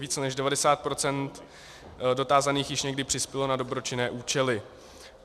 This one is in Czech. Více než 90 % dotázaných již někdy přispělo na dobročinné účely.